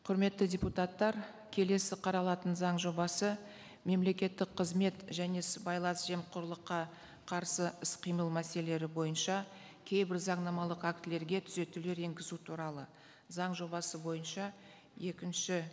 құрметті депутаттар келесі қаралатын заң жобасы мемлекеттік қызмет және сыбайлас жемқорлыққа қарсы іс қимыл мәселелері бойынша кейбір заңнамалық актілерге түзетулер енгізу туралы заң жобасы бойынша екінші